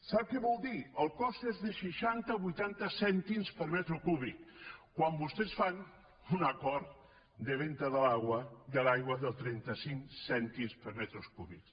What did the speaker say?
sap què vol dir el cost és de seixanta vuitanta cèntims per metre cúbic quan vostès fan un acord de venda de l’aigua de trenta cinc cèntims per metre cúbic